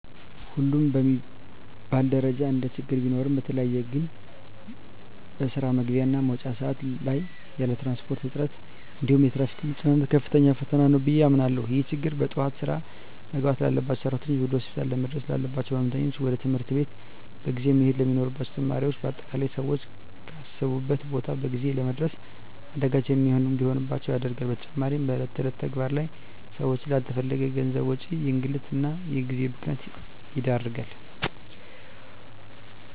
ሁሉም በሚባል ደረጃ እንደችግር ቢኖሩም በተለየ ግን በስራ መግቢያ እና መውጫ ሰአት ላይ ያለ የትራንስፖርት እጥረት እንዲሁም የትራፊክ መጨናነቅ ከፍተኛ ፈተና ነው ብየ አምናለሁ። ይህ ችግር በጠዋት ስራ መግባት ላባቸው ሰራተኞች፣ ወደ ሆስፒታል ለመድረስ ላለባቸው ህመምተኞች፣ ወደ ትምህርት ቤት በጊዜ መሄድ ለሚኖርባቸው ተማሪዎች በአጠቃላይ ሰወች ካሰቡት ቦታ በጊዜ ለመድረስ አዳጋች እንዲሆንባቸው ያደርጋል። በተጨማሪም በእለት እለት ተግባር ላይ ሰወችን ላለተፈለገ የገንዘብ ወጪ፣ እንግልት እና የጊዜ ብክነት ይዳርጋል።